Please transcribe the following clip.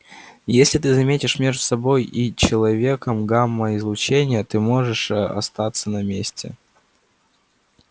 если ты заметишь между собой и человеком гамма-излучение ты можешь остаться на месте